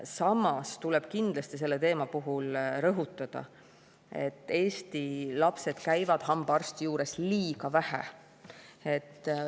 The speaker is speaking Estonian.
Samas tuleb kindlasti selle teema puhul rõhutada, et Eesti lapsed käivad hambaarsti juures liiga vähe.